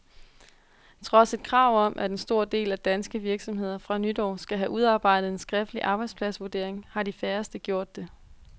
Trods et krav om, at en stor del af danske virksomheder fra nytår skal have udarbejdet en skriftlig arbejdspladsvurdering, har de færreste gjort det.